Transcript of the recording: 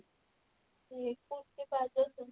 ଏଇ kurti ଆଉ